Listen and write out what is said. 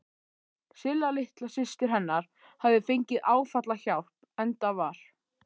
Silla litla systir hennar hafði fengið áfallahjálp, enda var